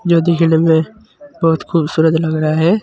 जो दिखने में बहुत खूबसूरत लग रहा है।